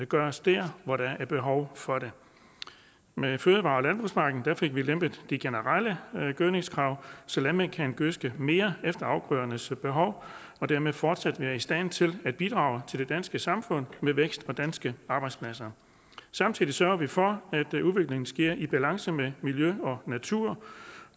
gøres der hvor der er behov for det med fødevare og landbrugspakken fik vi lempet de generelle gødningskrav så landmænd kan gødske mere efter afgrødernes behov og dermed fortsat være i stand til at bidrage til det danske samfund med vækst og danske arbejdspladser samtidig sørger vi for at udviklingen sker i balance med miljø og natur